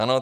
Ano.